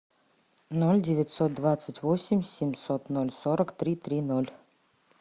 ноль девятьсот двадцать восемь семьсот ноль сорок три три ноль